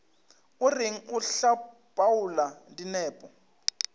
o reng o hlapaola dinepo